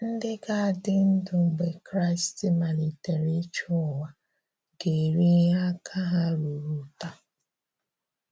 Ndị̀ ga-adí́ ndụ̀ mgbè Kraị́st maliterè ịchị̀ ụ̀wà, ga-èrí ihe àka ha rụrụ̀tà.